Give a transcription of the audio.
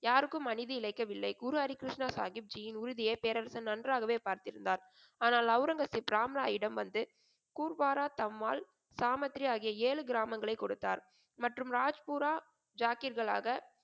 யாருக்கும் அநீதி இலைக்கவில்லை. குரு ஹரிகிருஷ்ண சாகிப்ஜியின் உறுதியை பேரரசர் நன்றாகவே பார்த்திருந்தார். ஆனால் ஒளரங்கசீப் ராம்ராயிடம் வந்து கூர்வாரா, தம்மால், சாமாத்ரி ஆகிய ஏழு கிராமங்களை கொடுத்தார் மற்றும் ராஜ்பூரா ஜாகிர்களாக,